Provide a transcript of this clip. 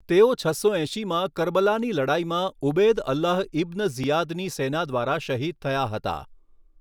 તેઓ છસો એંશીમાં કરબલાની લડાઈમાં ઉબૈદ અલ્લાહ ઇબ્ન ઝિયાદની સેના દ્વારા શહીદ થયા હતા.